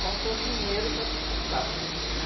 Faltou dinheiro para sustentar aquilo, né?